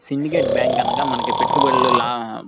syndicate bank అనగా మనకు పెట్టుబడుల్లో లా --